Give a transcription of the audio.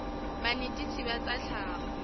la banetetshi ba tsa tlhago